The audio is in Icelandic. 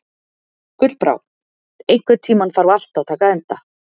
Gullbrá, einhvern tímann þarf allt að taka enda.